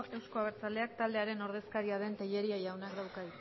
euzko abertzaleak taldearen ordezkaria den tellería jaunak dauka